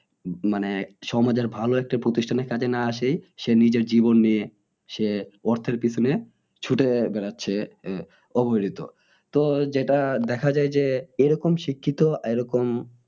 মানে সমাজের ভালো একটা প্রতিষ্ঠানের কাজে না এসে সে নিজের জীবন নিয়ে সে অর্থের পিছনে ছুটে বেরাচ্ছে অবহেলিত তো যেটা দেখা যাই যে এরকম শিক্ষিত এরকম